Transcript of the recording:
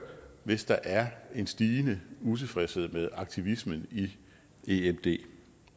hvis der er en stigende utilfredshed med aktivismen i emd det